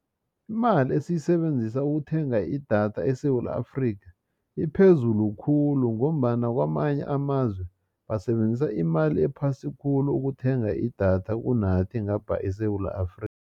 Imali esiyisebenzisa ukuthenga idatha eSewula Afrika iphezulu khulu ngombana kwamanye amazwe basebenzisa imali ephasi khulu ukuthenga idatha kunanthi ngapha eSewula Afrika.